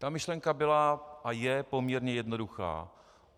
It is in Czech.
Ta myšlenka byla a je poměrně jednoduchá.